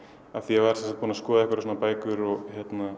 ég var búinn skoða bækur og